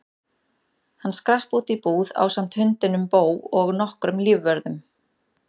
Hann skrapp út í búð ásamt hundinum Bo og nokkrum lífvörðum.